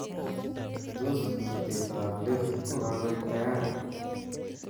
Tos, kurtetab let kokaek tayari